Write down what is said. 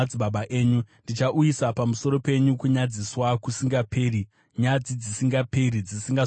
Ndichauyisa pamusoro penyu kunyadziswa kusingaperi, nyadzi dzisingaperi dzisingazokanganwiki.”